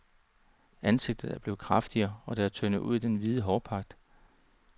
Ansigtet er blevet kraftigere, og det er tyndet ud i den hvide hårpragt.